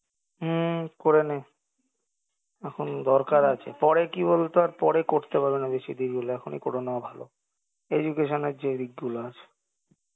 হম করে নে এখন দরকার আছে পরে কি বলতো আর পরে করতে পারবেনা বেশি দেরী হলে এখনই করে নেওয়া ভালো education এর যে দিকগুলো আছে